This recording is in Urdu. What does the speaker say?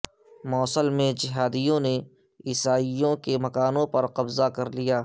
موصل میں جہادیوں نے عیسائیوں کے مکانوں پر قبضہ کر لیا